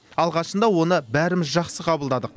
алғашында оны бәріміз жақсы қабылдадық